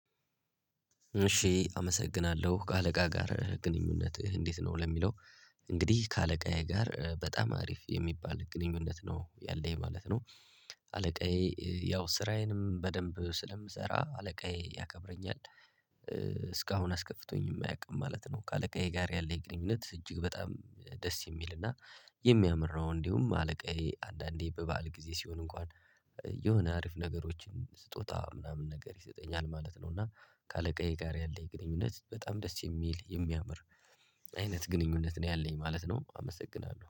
እሺ አመሰግናለሁ። ከአለቃ ጋር ግንኙነትህ እንዴት ነው ለሚለው እንግዲህ ከአለቃዬ ጋር በጣም አሪፍ የሚባል ግንኙነት ነው ያለኝ ማለት ነው። አለቃዬ ያው ስራዬንም በደንብ ስለምሰራ አለቃዬ ያከብረኛል እስካሁን አስከፍቶኝ የማያውቅም ማለት ነው። ከአለቃዬ ጋር ያለህ ግንኙነት እጅግ በጣም ደስ የሚል እና የሚያምር ነው። እንዲሁም አለቃዬ አንዳንዴ በበዓል ጊዜ ሲሆን እንኳን የሆነ አሪፍ ነገሮችን ስጦታ ምናምን ነገር ይሰጠኛል ማለት ነው። እና ከአለቃዬ ጋር ያለኝ ግንኙነት በጣም ደስ የሚል የሚያምር አይነት ግንኙነት ነው ያለኝ ማለት ነው። አመሰግናለሁ።